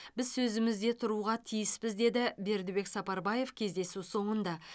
біз сөзімізде тұруға тиіспіз деді бердібек сапарбаев кездесу соңында